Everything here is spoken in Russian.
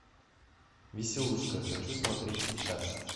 веселушка хочу смотреть сейчас